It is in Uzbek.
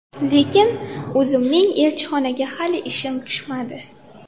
Lekin o‘zimning elchixonaga hali ishim tushmadi.